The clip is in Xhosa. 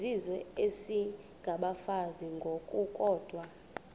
izizwe isengabafazi ngokukodwa